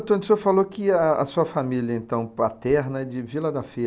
o senhor falou que a, a sua família, então, paterna é de Vila da Feira.